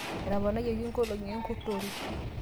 etoponaitie inkolongi enkurtore